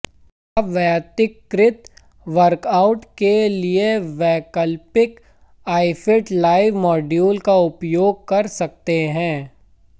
आप वैयक्तिकृत वर्कआउट्स के लिए वैकल्पिक आईफिट लाइव मॉड्यूल का उपयोग कर सकते हैं